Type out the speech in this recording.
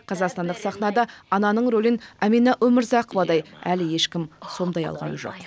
қазақстандық сахнада ананың ролін әмина өмірзақовадай әлі ешкім сомдай алған жоқ